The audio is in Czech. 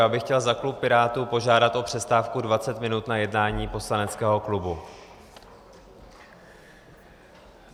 Já bych chtěl za klub Pirátů požádat o přestávku 20 minut na jednání poslaneckého klubu.